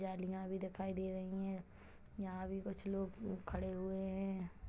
जालिया भी दिखाई दे रही है यहाँ भी कुछ लोग खड़े हुए है।